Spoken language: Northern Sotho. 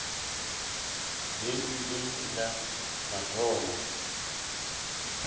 be e le la mathomo